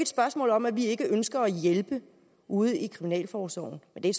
spørgsmål om at vi ikke ønsker at hjælpe ude i kriminalforsorgen men det er